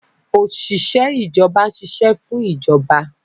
Òṣìṣẹ́ ìjọba ń ṣiṣẹ́ fún ìjọba